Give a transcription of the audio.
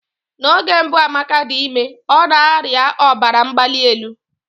N'oge mbụ Amaka dị ime, ọ na-arịa ọbara mgbali elu.